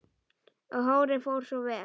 Og hárið fór svo vel!